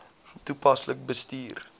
toepaslik bestuur